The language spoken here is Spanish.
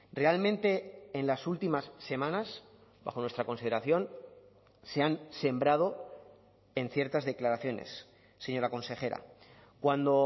realmente en las últimas semanas bajo nuestra consideración se han sembrado en ciertas declaraciones señora consejera cuando